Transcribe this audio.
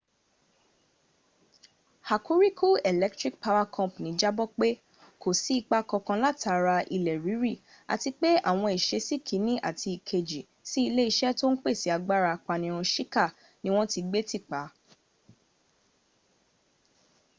hokuriku electric power co. jábọ̀ pé kò sí ipa kankan látara ilẹ̀ rírì àti pé àwọn ìsesí kìnní àti ìkejì sí ilé iṣẹ̀ tó ń pèsè agbára apanirun shika ni wọ́n ti gbé tìpa